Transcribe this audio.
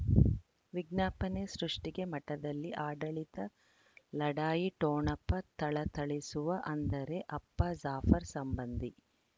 ವಿಜ್ಞಾಪನೆ ಸೃಷ್ಟಿಗೆ ಮಠದಲ್ಲಿ ಆಡಳಿತ ಲಢಾಯಿ ಠೊಣಪ ಥಳಥಳಿಸುವ ಅಂದರೆ ಅಪ್ಪ ಜಾಫರ್ ಸಂಬಂಧಿ